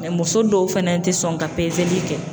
muso dɔw fɛnɛ tɛ sɔn ka pezeli kɛ.